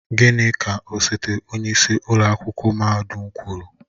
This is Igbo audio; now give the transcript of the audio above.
Gịnị ka osote onyeisi ụlọ akwụkwọ mahadum kwuru?